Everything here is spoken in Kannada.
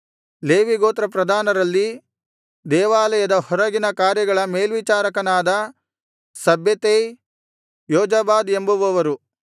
ಲೇವಿಗೋತ್ರ ಪ್ರಧಾನರಲ್ಲಿ ದೇವಾಲಯದ ಹೊರಗಿನ ಕಾರ್ಯಗಳ ಮೇಲ್ವಿಚಾರಕನಾದ ಶಬ್ಬೆತೈ ಯೋಜಾಬಾದ್ ಎಂಬುವವರು